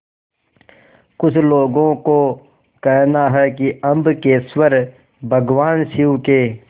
कुछ लोगों को कहना है कि अम्बकेश्वर भगवान शिव के